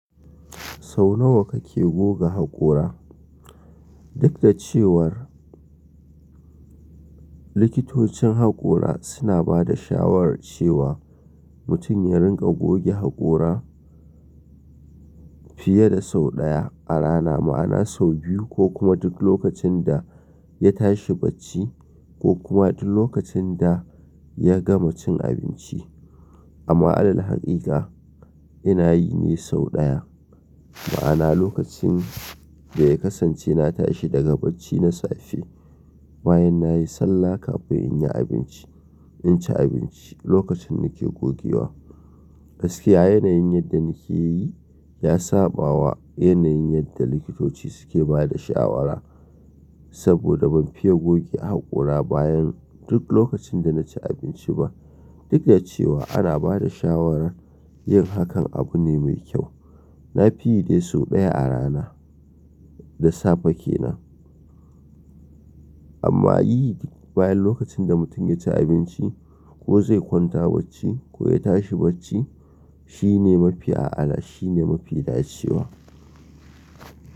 Sau nawa kake goga haƙora? Duk da cewar likitocin haƙora suna ba da shawarar cewa mutun ya rinƙa goge haƙora fiye da sau ɗaya a rana, ma'ana sau biyu ko kuma duk lokacin da ya tashi bacci ko kuma duk lokacin da ya gama cin abinci. Amma alal hakika ina yi ne sau ɗaya. Ma'ana lokacin da ya kasance na tashi daga bacci na safe, bayan nayi sallah kafin in yi abinci, inci abinci lokacin nake gogewa. Gaskiya yanayin yadda nike yi ya sabawa yanayin yadda likitoci suke bada shawara. Saboda ban fiye goge haƙora bayan duk lokacin da naci abinci ba. Duk da cewa ana bada shawarar yin hakan abu ne mai kyau. Na fi yi dai sau ɗaya a rana da safe kenan. Amma yi bayan lokacin da mutun ya ci abinci ko zai kwanta bacci ko ya tashi bacci shine mafi a'ala shine mafi dacewa.